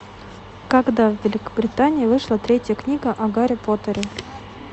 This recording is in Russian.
когда в великобритании вышла третья книга о гарри поттере